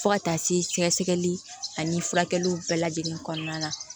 Fo ka taa se sɛgɛsɛgɛli ani furakɛliw bɛɛ lajɛlen kɔnɔna na